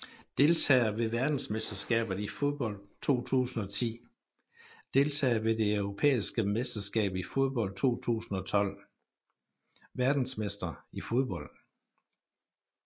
Deltagere ved verdensmesterskabet i fodbold 2010 Deltagere ved det europæiske mesterskab i fodbold 2012 Verdensmestre i fodbold